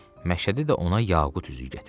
Məşədi də ona yaqut üzüyü gətirib.